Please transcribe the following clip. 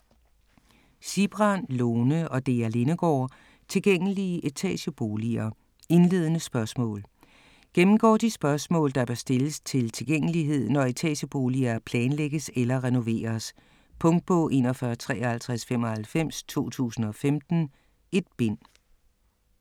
Sigbrand, Lone og Dea Lindegaard: Tilgængelige etageboliger - indledende spørgsmål Gennemgår de spørgsmål, der bør stilles til tilgængelighed, når etageboliger planlægges eller renoveres. Punktbog 415395 2015. 1 bind.